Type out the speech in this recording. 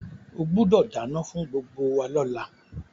O gbúdọ̀ dánán fún gbgbo wa lọ́la